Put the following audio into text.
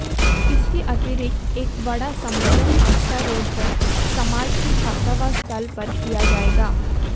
इसके अतिरिक्त एक बड़ा सम्मेलन आष्टा रोड़ पर समाज की छात्रावास स्थल पर किया जाएगा